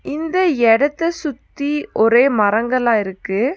இந்த எடத்த சுத்தி ஒரே மரங்களா இருக்கு.